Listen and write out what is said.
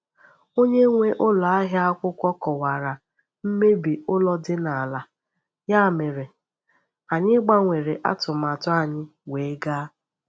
Onye nwe ụlọ ahịa akwụkwọ kọwara mmebi ụlọ dị n’ala, ya mere anyị gbanwere atụmatụ anyị wee gaa.